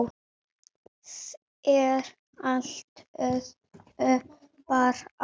Þeir ætluðu bara